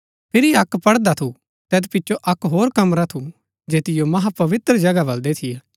फिरी अक्क पड़दा थू तैत पिचो अक्क होर कमरा थू जैतिओ महापवित्र जगहा बलदै थियै